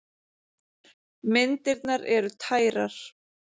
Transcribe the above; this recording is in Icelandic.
Myndirnar eru tærar.